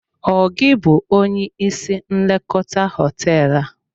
Ọ gị bụ onye isi nlekọta hoteelu a?